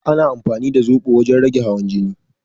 Ana amfani da zoɓo wajen rage hawan jini